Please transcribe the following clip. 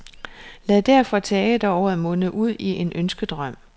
Lad derfor teateråret munde ud i en ønskedrøm.